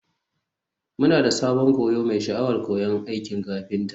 Muna da sabon koyo mai sha'awar koyon aikin kafinta.